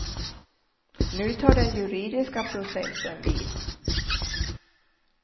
Nu tar den juridiska processen vid.